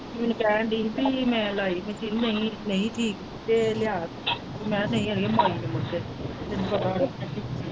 ਦੀਦੀ ਕਹਿਣ ਦੀ ਪੀ ਮੈਂ ਲਾਈ machine ਮੈਂ ਨਹੀਂ ਹੀ ਠੀਕ ਤੇ ਲਿਆ ਮੈਂ ਕਿਹਾ ਨਹੀਂ ਅੜੀਏ ਮੱਲ ਤੈਨੂੰ ਪਤਾ .